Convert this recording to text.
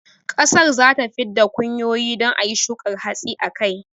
ƙasar zata fid da kunyoyi don ayi shukar hatsi a kai